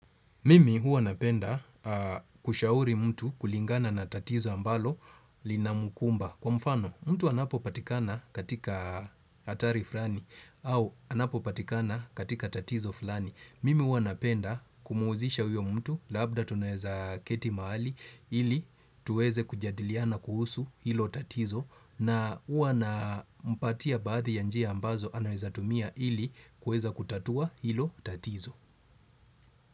Mimi huwa napenda kushauri mtu kulingana na tatizo ambalo linamkumba. Kwa mfano, mtu anapo patikana katika hatari fulani au anapo patikana katika tatizo fulani. Mimi huwa napenda kumuuzisha huyo mtu labda tunaeza keti mahali ili tuweze kujadiliana kuhusu hilo tatizo na huwa nampatia baadhi ya njia ambazo anaweza tumia ili kueza kutatua hilo tatizo.